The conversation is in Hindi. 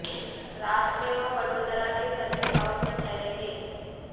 रात में वह वडोदरा के सर्किट हाऊस में ठहरेंगे